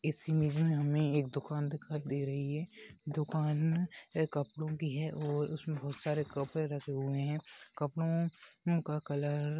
इस इमेज मे हमे एक दुकान दिखाई दे रही है ये दुकान कपड़ों कि है और उसमे बहुत सारे कपड़े रखे हुए है कपड़ों का कलर --